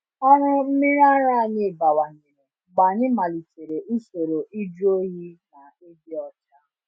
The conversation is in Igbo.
Ọrụ mmiri ara anyị bawanyere mgbe anyị melitere usoro ịjụ oyi na ịdị ọcha.